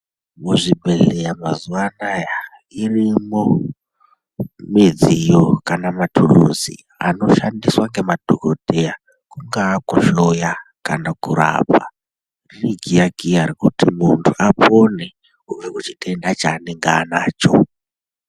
Muzvibhedhlera mazuva anaya irimo midziyo kana matuluzi anoshandiswa ngemadhokoteya pakuhloya kana kurapa ,ikiya kiya kuti muntu apone kubva kuchitenda chavanenge anacho.